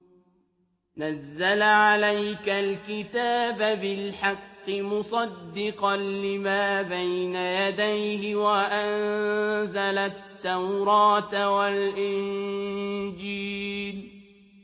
نَزَّلَ عَلَيْكَ الْكِتَابَ بِالْحَقِّ مُصَدِّقًا لِّمَا بَيْنَ يَدَيْهِ وَأَنزَلَ التَّوْرَاةَ وَالْإِنجِيلَ